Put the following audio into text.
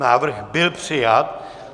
Návrh byl přijat.